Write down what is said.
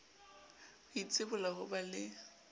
ho itsibola ho ba le